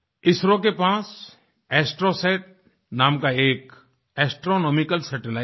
ISRO के पास Astrosat नाम का एक एस्ट्रोनॉमिकल सैटेलाइट है